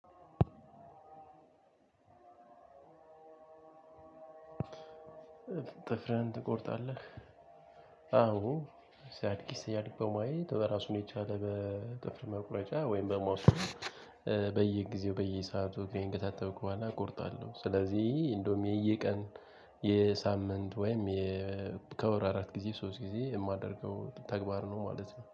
ጥፍርህን ትቆርጣለህ? አዎ። ሲያድ ሲያድግ በማየት በራሱን የቻለ በጥፍር መቁረጫ ወይም በማውሰድ በየጊዜው በየሰአቱ እግሬን ከታጠብኩ በኋላ እቆርጣለሁ። ስለዚህ እንደውም የየቀን የሳምንት ወይም በወር ከአራት ጊዜ ሶስት ጊዜ የማደርገው ተግባር ነው ማለት ነው